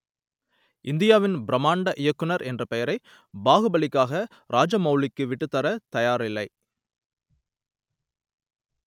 இந்தியாவின் பிரமாண்ட இயக்குனர் என்ற பெயரை பாகுபலிக்காக ராஜமௌலிக்கு விட்டுத்தர தயாரில்லை